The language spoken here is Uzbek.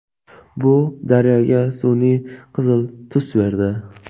Bu daryoga sun’iy qizil tus berdi.